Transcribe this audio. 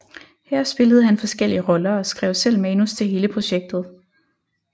Her spillede han forskellige roller og skrev selv manus til hele projektet